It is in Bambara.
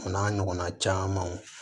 O n'a ɲɔgɔnna camanw